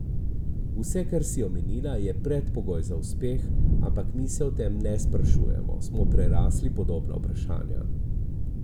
Vse, kar si omenila, je predpogoj za uspeh, ampak mi se o tem ne sprašujemo, smo prerasli podobna vprašanja.